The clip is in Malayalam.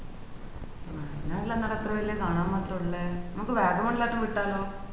വയനാറ്റിലെന്റട ഇത്ര വല്യ കാണാൻ മാത്രം ഇല്ലെ നമ്മക്ക്‌ വാഗമൺലോട്ട് വിട്ടാലോ